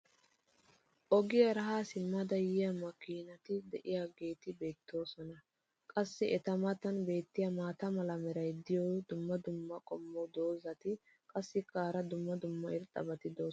Ogiyaara haa simmidi yiya makiinati diyaageeti beetoosona. qassi eta matan beetiya maata mala meray diyo dumma dumma qommo dozzati qassikka hara dumma dumma irxxabati doosona.